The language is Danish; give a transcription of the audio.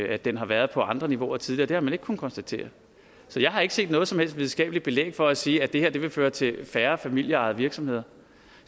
at den har været på andre niveauer tidligere og det har man ikke kunnet konstatere så jeg har ikke set noget som helst videnskabeligt belæg for at sige at det her vil føre til færre familieejede virksomheder